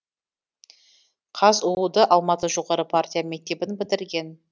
казұу ды алматы жоғары партия мектебін бітірген